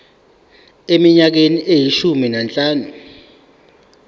eminyakeni eyishumi nanhlanu